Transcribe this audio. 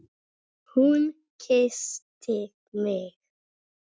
Hún kyssti mig!